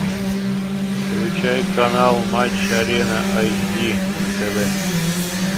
включай канал матч арена айч ди на тв